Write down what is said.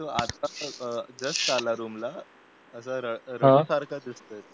आत्ताच आला जस्ट आला रूमला असा रडल्यासारखा दिसतो